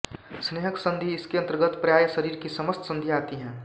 स्नेहक संधि इसके अंतर्गत प्राय शरीर की समस्त संधियाँ आती हैं